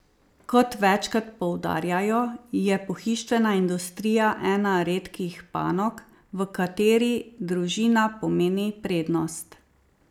Kot večkrat poudarjajo, je pohištvena industrija ena redkih panog, v kateri družina pomeni prednost.